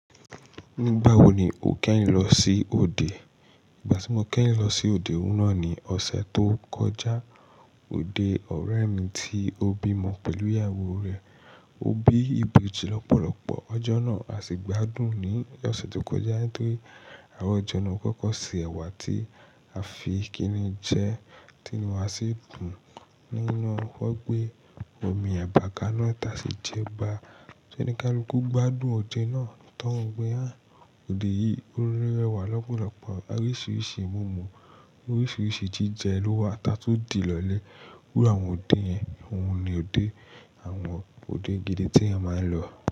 Nígbà wo ni o kẹ́yin lọ sí òde? Ìgbà tí mo kẹ́yin lọ sí òde oun na ni ọ̀sẹ̀ tó kọjá. Òde ọ̀rẹ́ mi tí ó bímọ pẹ̀lú ìyàwó rẹ̀. Ó bí ìbìjì lọ́pọ̀lọpọ̀, ọjọ́ náà á sì gbádùn ní ọ̀sẹ̀ tó kọjá nítorí àwọn ijọ́ náà kọ̀kọ̀ ṣe ẹ̀wà tí a fi kinijẹ tínú wa sí dun nínú ọ́gbẹ́. Omi eba kà náà ta sí jẹba. Ṣé ní kaluku gbádùn òde náà? Toun gbé hán. De yìí, ó rí ẹ̀wà lọ́pọ̀lọpọ̀ oríṣìíríṣìí mòmò, oríṣìíríṣìí jíjẹ ló wà táa tu dì lọlé. Iru àwọn òde yẹn, òun ni òde. Àwọn òde gidi tí ẹyan máa ń lọ.